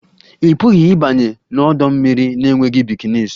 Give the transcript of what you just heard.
Ị pụghị ịbanye n'ọdọ mmiri na-enweghị bikinis